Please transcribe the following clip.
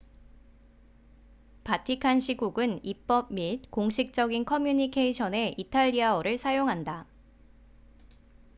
바티칸 시국은 입법 및 공식적인 커뮤니케이션에 이탈리아어를 사용한다